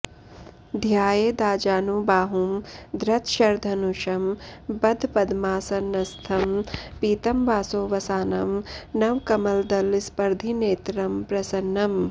ध्यायेदाजानुबाहुं धृतशरधनुषं बद्धपद्मासनस्थं पीतं वासो वसानं नवकमलदलस्पर्धिनेत्रं प्रसन्नम्